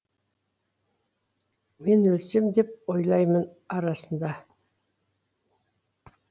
мен өлсем деп ойлаймын арасында